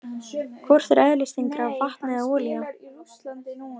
Hvort er eðlisþyngra, vatn eða olía?